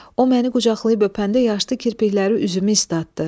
O məni qucaqlayıb öpəndə yaşlı kirpikləri üzümü istatdı.